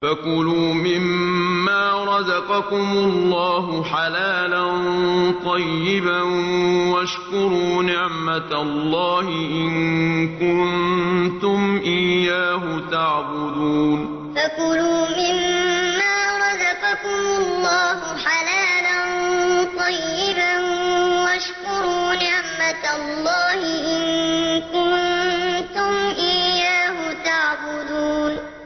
فَكُلُوا مِمَّا رَزَقَكُمُ اللَّهُ حَلَالًا طَيِّبًا وَاشْكُرُوا نِعْمَتَ اللَّهِ إِن كُنتُمْ إِيَّاهُ تَعْبُدُونَ فَكُلُوا مِمَّا رَزَقَكُمُ اللَّهُ حَلَالًا طَيِّبًا وَاشْكُرُوا نِعْمَتَ اللَّهِ إِن كُنتُمْ إِيَّاهُ تَعْبُدُونَ